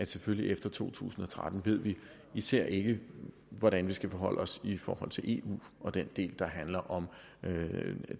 selvfølgelig efter to tusind og tretten især ikke ved hvordan vi skal forholde os i forhold til eu og den del der handler om